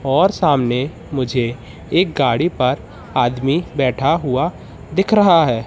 और सामने मुझे एक गाड़ी पर आदमी बैठा हुआ दिख रहा है।